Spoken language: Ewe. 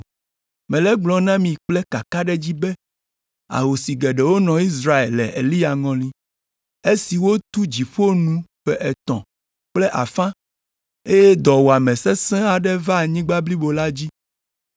Mele egblɔm na mi kple kakaɖedzi be ahosi geɖewo nɔ Israel le Eliya ŋɔli, esi wotu dziƒo nu ƒe etɔ̃ kple afã, eye dɔwuame sesẽ aɖe va anyigba blibo la dzi.